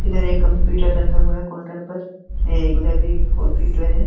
इधर एक कंप्युटर रखा हुआ है काउन्टर पर। ए उधर भी कंप्युटर है।